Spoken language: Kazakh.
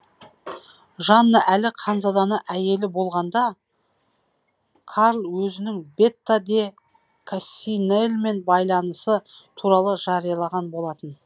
жанна әлі ханзаданы әйелі болғанда карл өзінің бетта де кассинелмен байланысы туралы жариялаған болатын